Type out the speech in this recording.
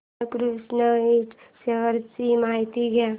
बाळकृष्ण इंड शेअर्स ची माहिती द्या